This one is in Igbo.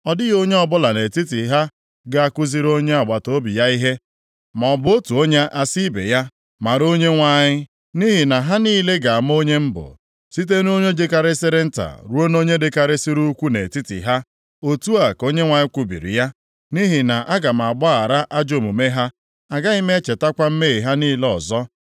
Ọ dịghị onye ọbụla nʼetiti ha ga-akụziri onye agbataobi ya ihe, maọbụ otu onye asị ibe ya, ‘Mara Onyenwe anyị,’ nʼihi na ha niile ga-ama onye m bụ, site nʼonye dịkarịsịrị nta ruo nʼonye dịkarịsịrị ukwuu nʼetiti ha.” Otu a ka Onyenwe anyị kwubiri ya. “Nʼihi na aga m agbaghara ajọ omume ha, agaghị m echetakwa mmehie ha niile ọzọ.”